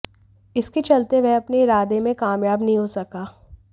इसके चलते वह अपने इरादे में कामयाब नहीं हो सका